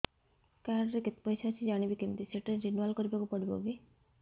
card ରେ କେତେ ପଇସା ଅଛି ଜାଣିବି କିମିତି ସେଟା ରିନୁଆଲ କରିବାକୁ ପଡ଼ିବ କି